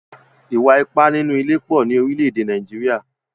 Ìwà ipá nínú ilé pọ̀ ní orílẹ̀ èdè Nàìjíríà.